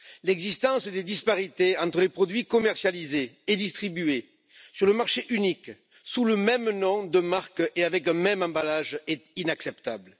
L'existence de disparités entre les produits commercialisés et distribués sur le marché unique, sous le même nom de marque et avec un même emballage est inacceptable.